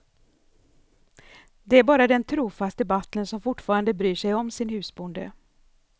Det är bara den trofaste butlern som fortfarande bryr sig om sin husbonde.